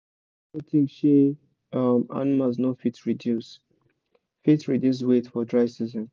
make you no think sey um animals no fit reduce fit reduce weight for dry season